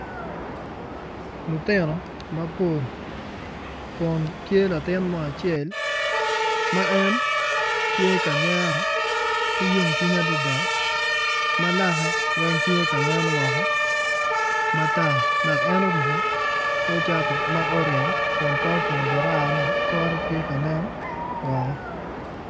Lutino mapol kun tye latin mo acel ma en tye ka nyero ki yomcwiny adida ma lake wney tye ka nen woko mataar dak en oruku kor cati ma oreny kun pe opungu jararane kore tye ka nen woko